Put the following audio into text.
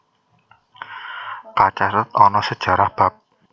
Kacathet ana sejarah bab